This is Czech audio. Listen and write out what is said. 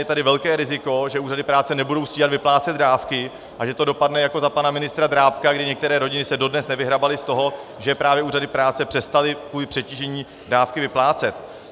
Je tady velké riziko, že úřady práce nebudou stíhat vyplácet dávky a že to dopadne jako za pana ministra Drábka, kdy některé rodiny se dodnes nevyhrabaly z toho, že právě úřady práce přestaly kvůli přetížení dávky vyplácet.